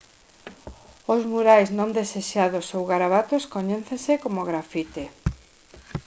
os murais non desexados ou garabatos coñécense como graffiti